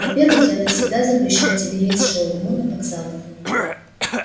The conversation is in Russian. во-первых я навсегда запрещаю тебе есть шаурму на вокзалах